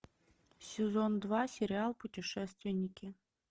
сезон два сериал путешественники